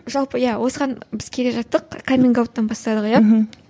жалпы иә осыған біз келе жаттық каменг ауттан бастадық иә мхм